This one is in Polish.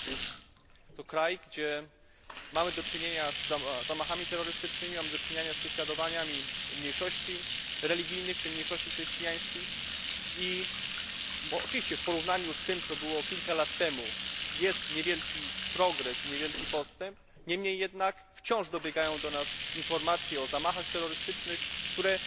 Jest to kraj, w którym mamy do czynienia z zamachami terrorystycznymi, mamy do czynienia z prześladowaniami mniejszości religijnych, w tym mniejszości chrześcijańskich, i oczywiście w porównaniu z tym, co było kilka lat temu, nastąpił niewielki postęp, niemniej jednak wciąż dobiegają do nas informacje o zamachach terrorystycznych, które